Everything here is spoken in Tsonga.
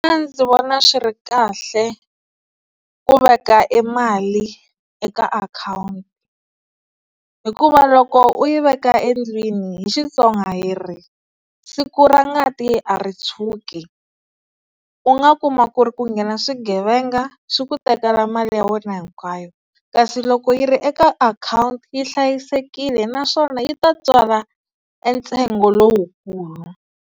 Mina ndzi vona swi ri kahle ku veka e mali eka akhawunti hikuva loko u yi veka endlwini hi Xitsonga hi ri, siku ra ngati a ri tshuki, u nga kuma ku ri ku nghena swigevenga swi ku tekela mali ya wena hinkwayo kasi loko yi ri eka akhawunti yi hlayisekile naswona yi ta tswala e ntsengo lowukulu.